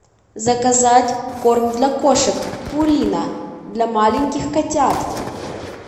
заказать корм для кошек пурина для маленьких котят